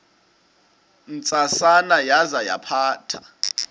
ntsasana yaza yaphatha